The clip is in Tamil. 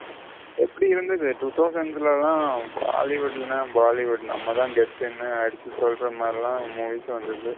எப்படி இருந்தது two thousand ஸ்ல bollywood என்ன bollywood நம்மத கெத்துனு அடிச்சி சொல்லுற மாறி எல்லாம் movie ஸ் வந்தது.